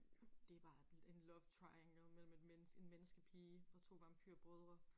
Det bare en love triangle mellem et en menneskepige og to vampyrbrødre